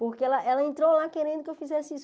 Porque ela ela entrou lá querendo que eu fizesse isso.